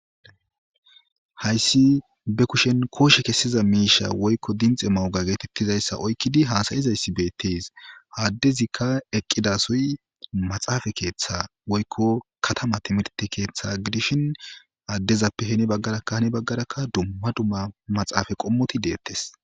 Hayissi baa kusheni koshee kesiza misha woyikka tekinoloje woyiko dixxi mewocca gizayissa oyikkidi hassayishhassayishe dizayisi bettesi.ha adezika eqidasoyi maxafe ketha woyikko katama timihirite ketha gidishini, adezappe hini baggara duma duma maxafe qomoti bettesi